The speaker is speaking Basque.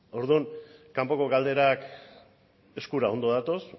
orduan kanpoko galderak eskura ondo datoz